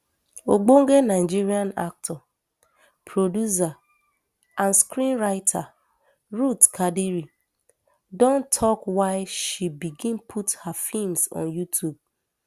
ogbonge nigerian actor producer and screenwriter ruth kadiri don tok why she begin put her feems on youtube